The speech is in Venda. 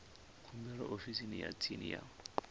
khumbelo ofisini ya tsini ya